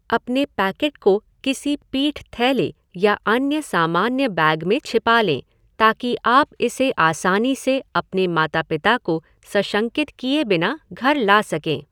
अपने पैकेट को किसी पीठ थैले या अन्य सामान्य बैग में छिपा लें ताकि आप इसे आसानी से अपने माता पिता को सशंकित किए बिना घर ला सकें।